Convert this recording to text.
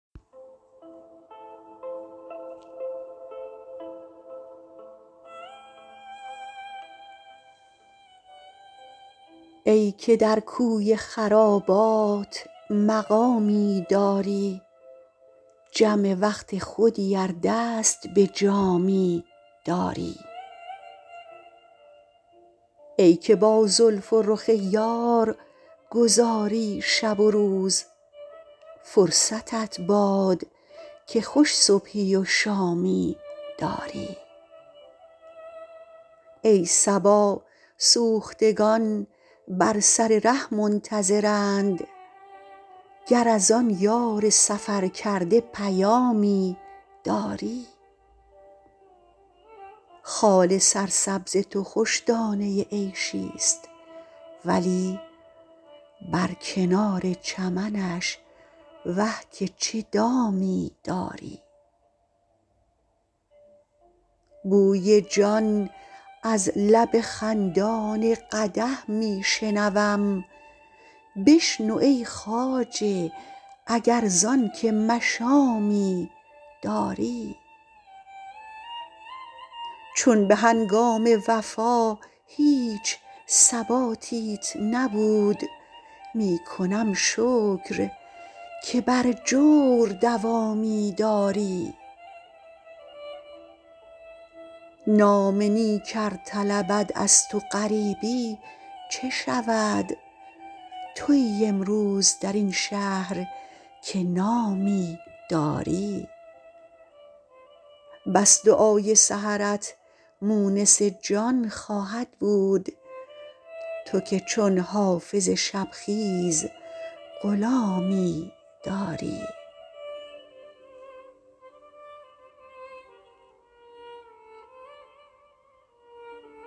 ای که در کوی خرابات مقامی داری جم وقت خودی ار دست به جامی داری ای که با زلف و رخ یار گذاری شب و روز فرصتت باد که خوش صبحی و شامی داری ای صبا سوختگان بر سر ره منتظرند گر از آن یار سفرکرده پیامی داری خال سرسبز تو خوش دانه عیشی ست ولی بر کنار چمنش وه که چه دامی داری بوی جان از لب خندان قدح می شنوم بشنو ای خواجه اگر زان که مشامی داری چون به هنگام وفا هیچ ثباتیت نبود می کنم شکر که بر جور دوامی داری نام نیک ار طلبد از تو غریبی چه شود تویی امروز در این شهر که نامی داری بس دعای سحرت مونس جان خواهد بود تو که چون حافظ شب خیز غلامی داری